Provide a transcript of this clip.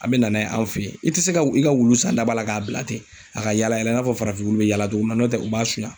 An be na n'a ye an fe yen. I te se ka wulu i ka wulu san da ba la ka bila ten a ka yaala yaala i n'a fɔ farafin wulu be yaala togo min na. N'o tɛ u b'a suɲa.